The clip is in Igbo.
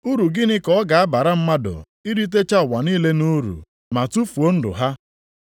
Uru gịnị ka ọ ga-abara mmadụ, iritecha ụwa niile nʼuru ma tufuo ndụ ha?